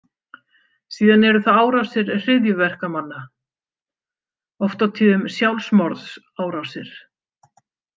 Síðan eru það árásir hryðjuverkamanna, oft á tíðum sjálfsmorðsárásir.